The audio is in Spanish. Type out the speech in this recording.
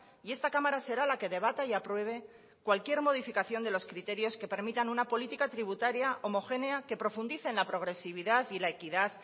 y esta cámara será la que debata y apruebe cualquier modificación de los criterios que permitan una política tributaria homogénea que profundice en la progresividad y la equidad